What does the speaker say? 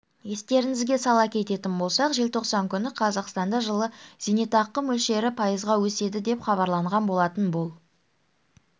естеріңізге сала кететін болсақ желтоқсан күні қазақстанда жылы зейнетақы мөлшері пайызға өседі деп хабарланған болатын бұл